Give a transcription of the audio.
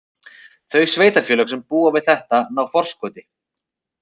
Þau sveitarfélög sem búa við þetta ná forskoti.